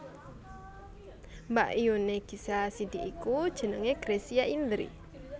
Mbakyuné Gisela Cindy iku jenengé Gracia Indri